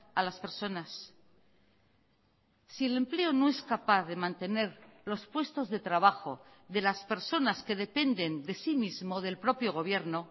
a las personas si el empleo no es capaz de mantener los puestos de trabajo de las personas que dependen de sí mismo o del propio gobierno